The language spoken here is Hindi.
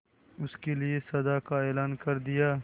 उसके लिए सजा का ऐलान कर दिया